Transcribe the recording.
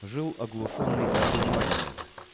жил оглушённый и одурманенный